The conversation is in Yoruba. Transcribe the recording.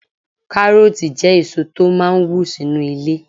Kárọ̀ọ̀tì jẹ́ èso tó máà ń wù sínu ilẹ̀